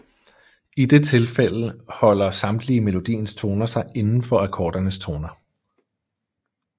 I det tilfælde holder samtlige melodiens toner sig indenfor akkordernes toner